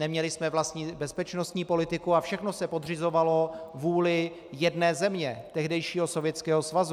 Neměli jsme vlastní bezpečnostní politiku a všechno se podřizovalo vůli jedné země, tehdejšího Sovětského svazu.